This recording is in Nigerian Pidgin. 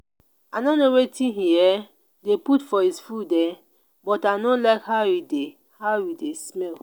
i no know wetin he um dey put for him food um but i no like how e dey how e dey smell